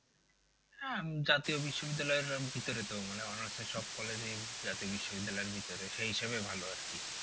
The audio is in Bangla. হ্যাঁ জাতীয় বিশ্ববিদ্যালয়ের ভিতরে তো মানে honours এর সব college এই জাতীয় বিশ্ববিদ্যালয় এর ভিতরে সেই হিসাবে ভালো আর কি।